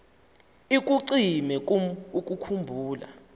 ikucime kum ukukhumbula